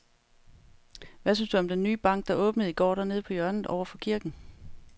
Hvad synes du om den nye bank, der åbnede i går dernede på hjørnet over for kirken?